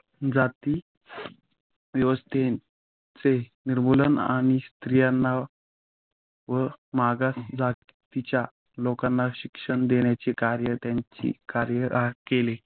जाति व्यवस्थेचे निर्मूलन, आणि स्त्रियांना व मागास जातीच्या लोकांना शिक्षण देण्याचे कार्य त्यांनी कार्य आ कार्य केले.